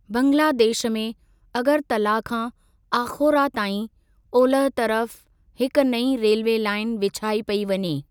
बंगलादेश में अगरतला खां आख़ोरा ताईं ओलह तरफ़ हिकु नईं रेल्वे लाईन विछाई पेई वञे।